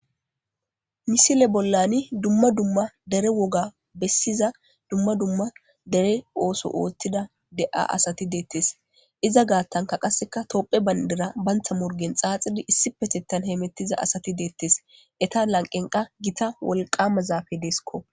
Misile bollani dumma dumma dere woga bessiza dumma dumma dere ooso ootthida de'a asati deettes iza gaattanka qasseka topphe bayndera bantha morgen xaaxidi issi petettan heemettiza asati deettes eta lanqenqa gita wolqama zaafe desiko